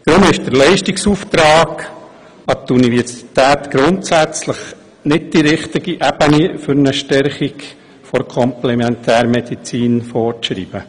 Deshalb ist der Leistungsauftrag an die Universität grundsätzlich nicht die richtige Ebene, um eine Stärkung der Komplementärmedizin vorzuschreiben.